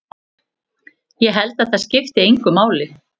Ég held að það skipti engu máli.